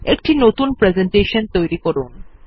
একটি নতুন প্রেসেন্টেশন তৈরী করুন